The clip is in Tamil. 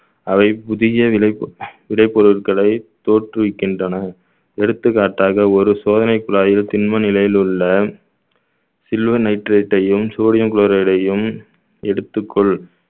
அவை புதிய விலை பொருட்~ விலை பொருட்களை தோற்றுவிக்கின்றன எடுத்துக்காட்டாக ஒரு சோதனை குழாயில் திண்ம நிலையில் உள்ள silver nitrate டையும் sodium chloride யையும் எடுத்துக்கொள்